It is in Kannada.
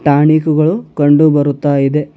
ಟಾನಿಕ್ ಗಳು ಕಂಡು ಬರುತ್ತಾ ಇದೆ.